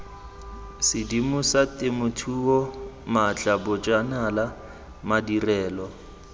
sedimosa temothuo maatla bojanala madirelo